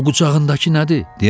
O qucağındakı nədir?